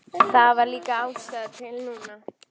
Það var líka ástæða til núna.